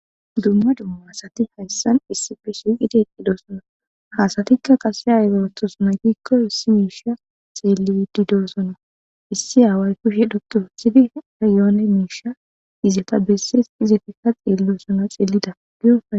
dumma dumma asati hayssan issippe shiqqi de7osonna hasatikka qasse ayi oothiyona giikko issi miisha xeelliiddi doosona issi aaway kushe dhoqqi wothidi aayoone miisha izata bessees izefikka xeellosana xeellida giyo